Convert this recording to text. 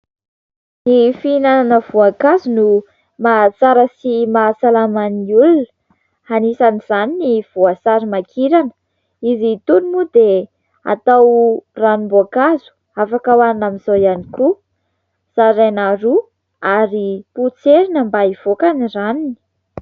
Ny fihinanana voankazo no mahatsara sy mahasalama ny olona. Anisan'izany ny voasarimakirana. Izy itony moa dia atao ranom-boankazo, afaka hoanina amin'zao ihany koa, zaraina roa ary potserina mba hivoaka ny ranony.